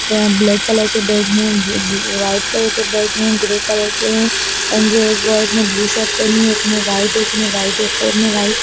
यहाँ black colour के bag हैं ब-ब वाइट कलर के बैग हैं ग्रे कलर के हैं एंड जो एक बॉय ने ब्लू शर्ट पहेनी है एक ने वाइट एक ने वाइट एक और ने वाइट --